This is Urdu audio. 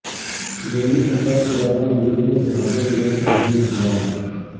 دہلی فساد کے دوران مجرموں کے ہاتھوں میں غیرقانونی ہتھیار